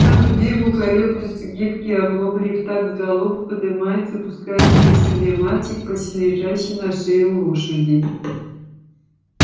в такт бегу колеблются гибкие оглобли и в такт галопу подымается и опускается на седле мальчик почти лежащий на шее у лошади